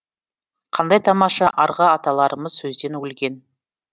қандай тамаша арғы аталарымыз сөзден өлген